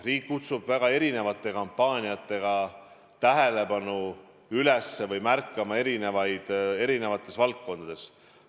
Riik kutsub väga erinevate kampaaniatega tähelepanu üles näitama või märkama erinevaid inimesi erinevates valdkondades.